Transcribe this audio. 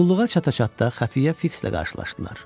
Konsulluğa çata-çatda xəfiyyə Fikslə qarşılaşdılar.